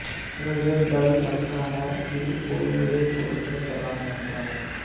मुझे डर लगता है कि कोई मुझे छोड़कर चला ना जाए